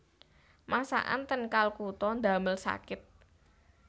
Masakan ten Kalkuta ndamel sakit